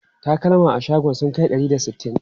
Takalma a shagon sun kai ɗari da sittin?